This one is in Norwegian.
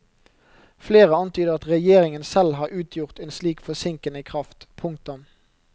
Flere antyder at regjeringen selv har utgjort en slik forsinkende kraft. punktum